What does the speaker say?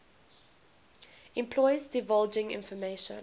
employees divulging information